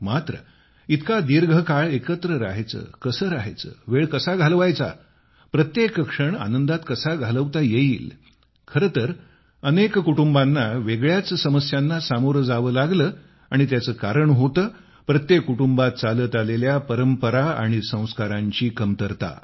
मात्र इतका दीर्घ काळ एकत्र राहायचे कसे राहायचे वेळ कसा घालवायचा प्रत्येक क्षण आनंदात कसा घालवता येईल खरे तर अनेक कुटुंबांना वेगळ्याच समस्यांना सामोरे जावे लागले आणि त्याचे कारण होते प्रत्येक कुटुंबात चालत आलेल्या परंपरा आणि संस्कारांची कमतरता